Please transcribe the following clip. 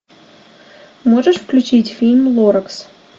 можешь включить фильм лоракс